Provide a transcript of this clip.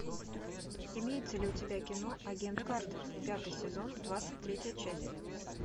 имеется ли у тебя кино агент картер пятый сезон двадцать третья часть